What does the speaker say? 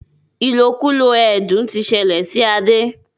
ilokulo ẹdun tí ṣẹlẹ sí Ade.